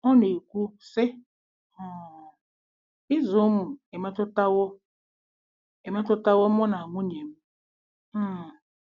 Ọ na-ekwu, sị: um “ Ịzụ ụmụ emetụtawo emetụtawo mụ na nwunye m um.